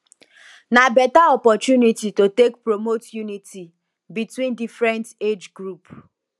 na beta opportunity to take promote unity between different age group